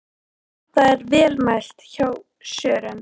Þetta er vel mælt hjá Sören.